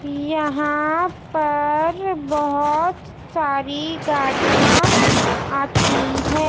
यहां पर बहुत सारी गाड़ियां आती है।